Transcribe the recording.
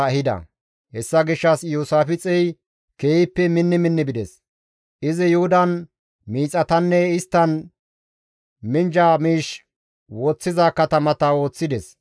Hessa gishshas Iyoosaafixey keehippe minni minni bides. Izi Yuhudan miixatanne isttan minjja miish woththiza katamata ooththides.